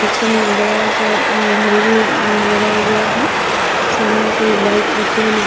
पीछे में एक बड़ा सा अम्म घड़ी भी अम्म लगाया गया है सामने से एक बाइक आते हुए नजर --